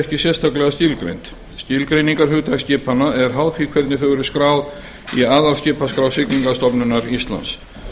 ekki sérstaklega skilgreind skilgreiningarhugtak skipanna er háð því hvernig þau eru skráð í aðalskipaskrá siglingastofnunar íslands